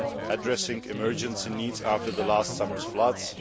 addressing emergency needs after last summer's floods